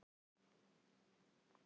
En við þurftum ekki að skora